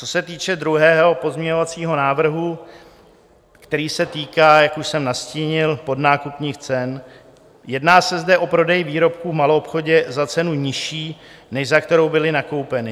Co se týče druhého pozměňovacího návrhu, který se týká, jak už jsem nastínil, podnákupních cen, jedná se zde o prodej výrobků v maloobchodě za cenu nižší, než za kterou byly nakoupeny.